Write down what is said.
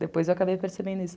Depois eu acabei percebendo isso.